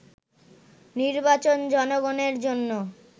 “নির্বাচন জনগণের জন্য